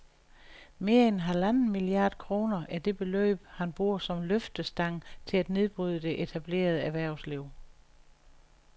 Mere end halvanden milliard kroner er det beløb, han bruger som løftestang til at nedbryde det etablerede erhvervsliv